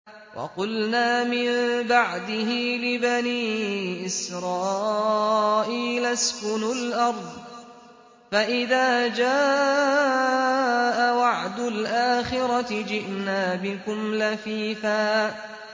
وَقُلْنَا مِن بَعْدِهِ لِبَنِي إِسْرَائِيلَ اسْكُنُوا الْأَرْضَ فَإِذَا جَاءَ وَعْدُ الْآخِرَةِ جِئْنَا بِكُمْ لَفِيفًا